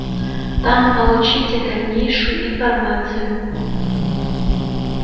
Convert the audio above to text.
там получите дальнейшую информацию